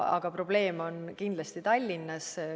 Aga probleem on kindlasti Tallinnas.